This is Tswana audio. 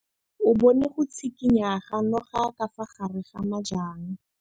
O bone go tshikinya ga noga ka fa gare ga majang.